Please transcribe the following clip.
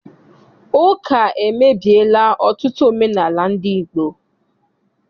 Ụka emebiela ọtụtụ omenaala ndị Igbo.